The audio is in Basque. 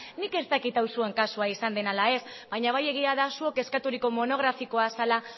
nik ez dakit hau zuen kasua izan den ala ez baina bai egia da zuok eskaturiko monografikoa zela